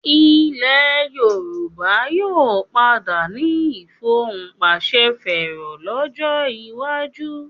Ilẹ̀ Yorùbá yóò padà ní ìfohùnpàṣẹfẹ́rọ lọ́jọ́ iwájú